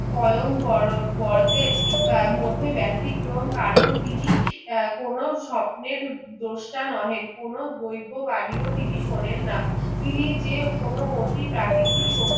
স্বয়ং বড়দের মধ্যে বেতিক্রম কারণ তিনি আহ কোনো স্বপ্নের দোষটা নহেন কোনো দৈব বানিও তিনি শোনেন না তিনি যে কোনো অতি প্রকৃতি শক্তি